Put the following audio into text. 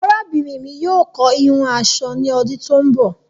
Àràbínrin mi yóò kọ̀ hìhùn aṣọ ni ọdún tó ń bọ